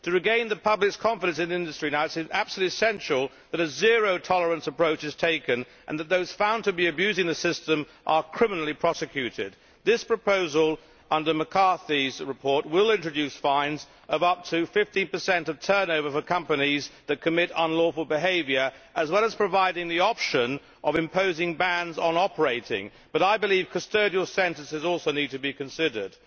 To regain the public's confidence in the industry now, it is absolutely essential that a zero tolerance approach is taken and that those found to be abusing the system are criminally prosecuted. This proposal under Ms McCarthy's report will introduce fines of up to 50 of turnover for companies that commit unlawful behaviour, as well as providing the option of imposing bans on operating, but I believe that custodial sentences also need to be considered.